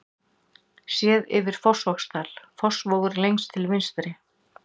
Séð yfir Fossvogsdal, Fossvogur lengst til vinstri.